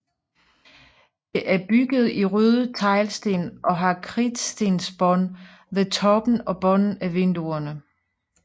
Det erbygget i røde teglsten og har kridtstensbånd ved toppen og bunden af vinduerne